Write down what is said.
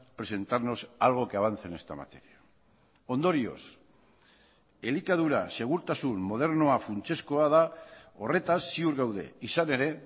presentarnos algo que avance en esta materia ondorioz elikadura segurtasun modernoa funtsezkoa da horretaz ziur gaude izan ere